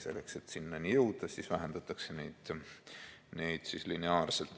Selleks, et sinnani jõuda, siis vähendatakse neid lineaarselt.